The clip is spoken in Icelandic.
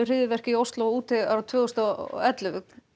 hryðjuverk í Osló og Útey árið tvö þúsund og ellefu